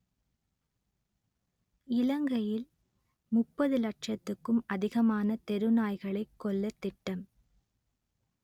இலங்கையில் முப்பது லட்சத்துக்கும் அதிகமான தெரு நாய்களை கொல்லத் திட்டம்